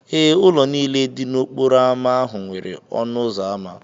Ee, ụlọ niile dị n'okporo ámá ahụ nwere ọnụ ụzọ ámá.